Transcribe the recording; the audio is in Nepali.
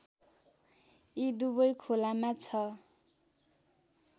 यी दुबै खोलामा ६